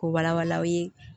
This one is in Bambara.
K'u wala wala aw ye